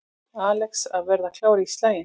Alex að verða klár í slaginn